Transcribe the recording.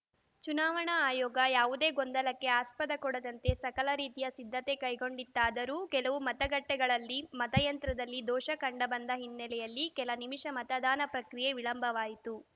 ಚುನಾವಣಾ ಆಯೋಗ ಯಾವುದೇ ಗೊಂದಲಕ್ಕೆ ಆಸ್ಪದ ಕೊಡದಂತೆ ಸಕಲ ರೀತಿಯ ಸಿದ್ಧತೆ ಕೈಗೊಂಡಿತ್ತಾದರೂ ಕೆಲವು ಮತಗಟ್ಟೆಗಳಲ್ಲಿ ಮತಯಂತ್ರದಲ್ಲಿ ದೋಷ ಕಂಡುಬಂದ ಹಿನ್ನೆಲೆಯಲ್ಲಿ ಕೆಲ ನಿಮಿಷ ಮತದಾನ ಪ್ರಕ್ರಿಯೆ ವಿಳಂಬವಾಯಿತು